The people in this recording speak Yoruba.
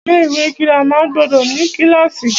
Ilé ìwé girama gbọdọ̀ ní kílàsì.